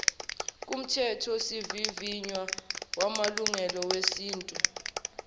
kumthethosivivinywa wamalungelo esintu